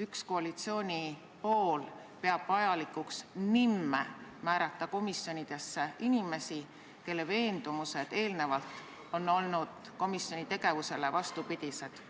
üks koalitsiooni pool vajalikuks nimme määrata komisjoni inimesi, kelle veendumused on eelnevalt olnud komisjoni tegevuse eesmärkidele vastupidised?